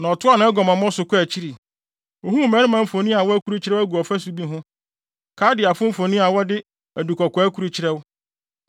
“Na ɔtoaa nʼaguamammɔ no so kɔɔ akyiri. Ohuu mmarima mfoni a wɔakurukyerɛw agu ɔfasu bi ho, Kaldeafo mfoni a wɔde adukɔkɔɔ akrukyerɛw